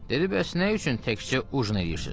Dedi: bəs nə üçün təkcə ujin eləyirsiz?